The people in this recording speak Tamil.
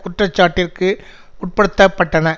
குற்ற சாட்டிற்கு உட்படுத்த பட்டன